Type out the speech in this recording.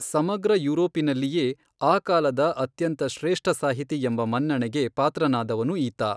ಸಮಗ್ರ ಯುರೋಪಿನಲ್ಲಿಯೇ ಆ ಕಾಲದ ಅತ್ಯಂತ ಶ್ರೇಷ್ಠಸಾಹಿತಿ ಎಂಬ ಮನ್ನಣೆಗೆ ಪಾತ್ರನಾದವನು ಈತ.